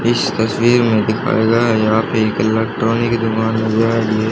इस तस्वीर में दिखाया गया है यहां पे एक इलेक्ट्रॉनिक दुकान नजर आ रही है।